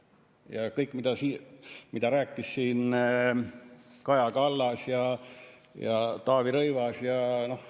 Ja kõik, mida rääkisid siin Kaja Kallas ja Taavi Rõivas ja ...